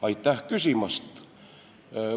Aitäh küsimast!